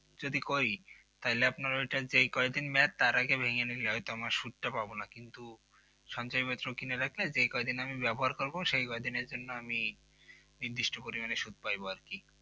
যদি করি তাহলে ওটা আপনার যে কয়েকদিন Mac তার আগে ভেঙে নিলে হয়তো আমার সুদটা পাবো না কিন্তু পঞ্চায়েত পাত্র কেন রাখলে যেই কয়দিন আমি ব্যবহার করব সেই কয়দিনের জন্য আমি নির্দিষ্ট পরিমাণ সুদ পাবো আর কি